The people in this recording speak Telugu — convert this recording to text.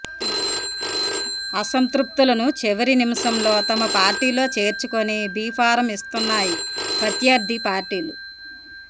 అసంతృప్తులను చివరి నిమిషంలో తమ పార్టీలో చేర్చుకొని బీ ఫాం ఇస్తున్నాయి ప్రత్యర్థి పార్టీలు